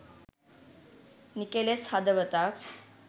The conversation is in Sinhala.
නිකෙලෙස් හදවතක්.